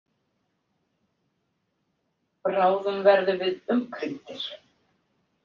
Bráðum verðum við umkringdir.